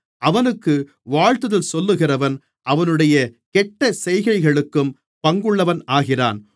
அவனுக்கு வாழ்த்துதல் சொல்லுகிறவன் அவனுடைய கெட்டசெய்கைகளுக்கும் பங்குள்ளவன் ஆகிறான்